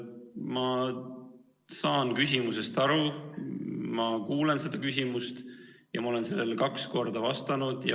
Ma saan küsimusest aru, ma kuulsin seda küsimust, ja ma olen sellele kaks korda vastanud.